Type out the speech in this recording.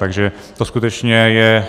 Takže to skutečně je